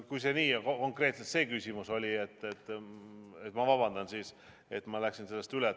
Kui oli konkreetselt see küsimus, siis ma vabandan, et läksin sellest üle.